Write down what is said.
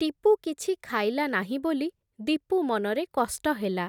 ଟିପୁ କିଛି ଖାଇଲା ନାହିଁ ବୋଲି, ଦୀପୁ ମନରେ କଷ୍ଟ ହେଲା ।